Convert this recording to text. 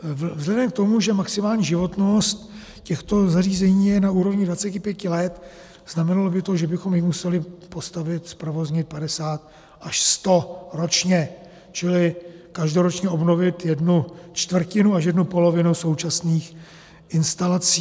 Vzhledem k tomu, že maximální životnost těchto zařízení je na úrovni 25 let, znamenalo by to, že bychom jich museli postavit, zprovoznit 50 až 10 ročně, čili každoročně obnovit jednu čtvrtinu až jednu polovinu současných instalací.